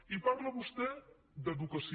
i parla vostè d’educació